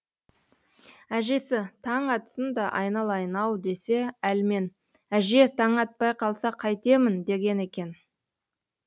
әжесі таң атсын да айналайын ау десе әлмен әже таң атпай қалса қайтемін деген екен